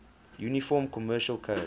uniform commercial code